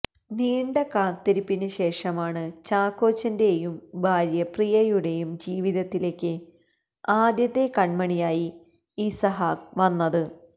നീണ്ട കാത്തിരിപ്പിന് ശേഷമാണ് ചാക്കോച്ചന്റെയും ഭാര്യ പ്രിയയുടെയും ജീവിതത്തിലേക്ക് ആദ്യത്തെ കൺമണിയായി ഇസഹാക്ക് വന്നത്